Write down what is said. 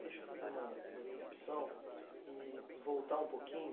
Deixa eu fazer uma uma interrupção e voltar um pouquinho.